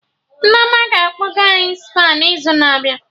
Nneoma ga-akpọga any Spa n'izu na-abịa